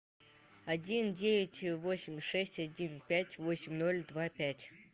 один девять восемь шесть один пять восемь ноль два пять